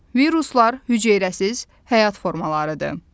Viruslar hüceyrəsiz həyat formalarıdır.